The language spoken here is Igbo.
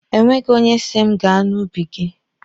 E nweghi onye si m gaa n'ubi gị.